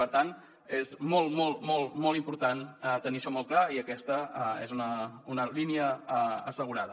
per tant és molt molt molt important tenir això molt clar i aquesta és una línia assegurada